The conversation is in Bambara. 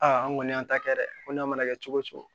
Aa an kɔni y'an ta kɛ dɛ ko n'a mana kɛ cogo o cogo